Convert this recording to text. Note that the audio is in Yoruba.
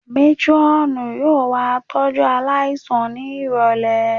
Métírọ́ọ̀nù yóò wá tọ́jú aláìsàn ní ìrọ̀lẹ̀